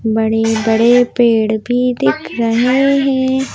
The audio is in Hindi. बड़े बड़े पेड़ भी दिख रहे हैं।